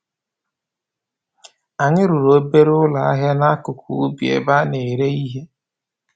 Anyi rụrụ obere ụlọ ahịa n'akụkụ ubi ebe a na-ere ihe